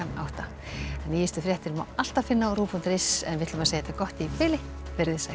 átta nýjustu fréttir má alltaf finna á rúv punktur is en við segjum þetta gott í bili veriði sæl